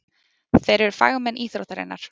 Þeir eru fagmenn íþróttarinnar.